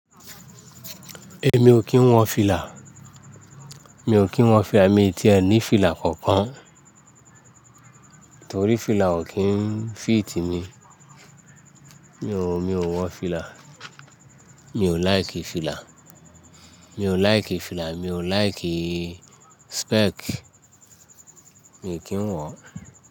Èmi ò kí ń wọ fìlà. Mi ò kí ń wọ fìlà, èmi ti ẹ ní fìlà kankan torí fìlà ò kí ń fìtì mi. Mi ò, mi ò wọ fìlà. Mi ò like fìlà. Mi ò like fìlà, mi ò like spec. Èmi ò kí ń wọ.